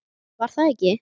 Var það ekki?